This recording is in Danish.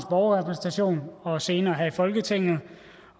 borgerrepræsentation og senere her i folketinget